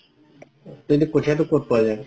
এনে কঠিয়াটো কত পোৱা যাই?